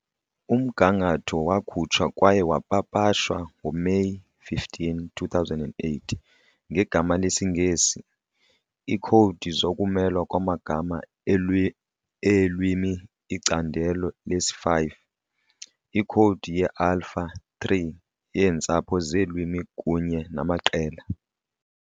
Umgangatho wakhutshwa kwaye wapapashwa ngoMeyi 15, 2008 ngegama lesiNgesi- "Iikhowudi zokumelwa kwamagama eelwimi- Icandelo lesi-5- Ikhowudi ye-Alpha-3 yeentsapho zeelwimi kunye namaqela"